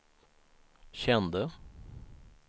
kände